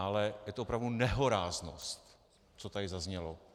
Ale je to opravdu nehoráznost, co tady zaznělo.